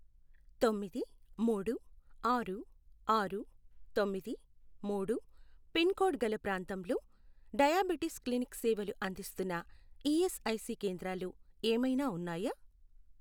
తొమ్మిది, మూడు, ఆరు, ఆరు, తొమ్మిది, మూడు, పిన్ కోడ్ గల ప్రాంతంలో డయాబెటీస్ క్లినిక్ సేవలు అందిస్తున్న ఈఎస్ఐ సి కేంద్రాలు ఏమైనా ఉన్నాయా?